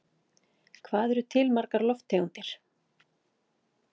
Hvað eru til margar lofttegundir?